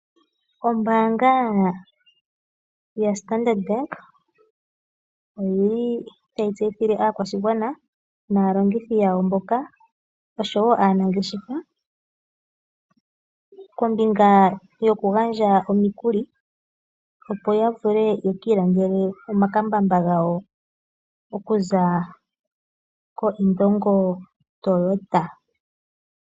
Ombanga ya Standard Bank oyili tayi tseyithile aakwashigwana nalongithi yawo mboka oshowo aanageshefa koombinga yo kugandja omikuli opo ya vule yiikilandele omakambamba gawo okuza ko Indongo Toyota.